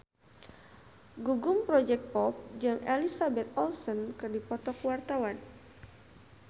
Gugum Project Pop jeung Elizabeth Olsen keur dipoto ku wartawan